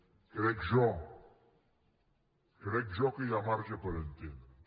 ho crec jo crec jo que hi ha marge per entendre’ns